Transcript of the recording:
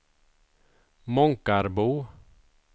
Månkarbo